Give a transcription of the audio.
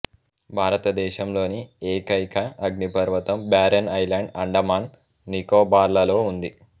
భారతదేశంలోని ఏకైక అగ్నిపర్వతం బారెన్ ఐలాండ్ అండమాన్ నికోబార్లలో ఉంది